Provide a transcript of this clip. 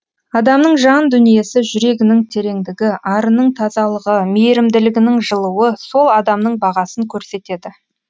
адамның жан дүниесі жүрегінің тереңдігі арының тазалығы мейірімділігінің жылуы сол адамның бағасын көрсетеді